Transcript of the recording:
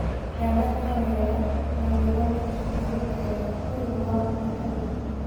Nĩathakaga wega nagwethondĩkĩra kanya kega - nĩ ũndũ wa kũmakania